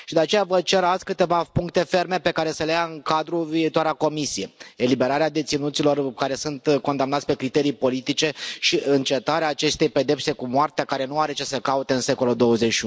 De aceea, vă cer azi câteva puncte ferme pe care să le ia în calcul viitoarea Comisie eliberarea deținuților care sunt condamnați pe criterii politice și încetarea acestei pedepse cu moartea, care nu are ce să caute în secolul XXI.